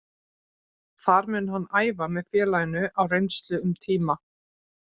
Þar mun hann æfa með félaginu á reynslu um tíma.